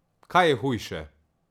Kaj je hujše?